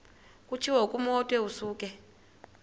kutshiwo kumotu osuke